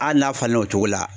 Ali n'a falenna o cogo la.